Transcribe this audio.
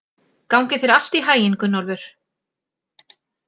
Gangi þér allt í haginn, Gunnólfur.